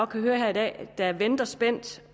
kan høre her i dag der venter spændt